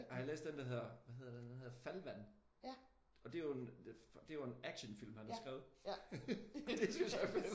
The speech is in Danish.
Har I læst den der hedder hvad hedder den? Den hedder Fallvatten. Og det er jo en det er jo en actionfilm han har skrevet og det synes jeg er fedt